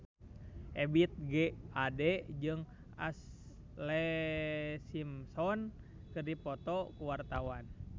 Ebith G. Ade jeung Ashlee Simpson keur dipoto ku wartawan